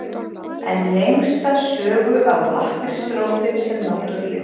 En lengsta sögu á lakkrísrótin sem náttúrulyf.